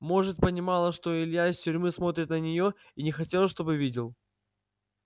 может понимала что илья из тюрьмы смотрит на нее и не хотела чтобы видел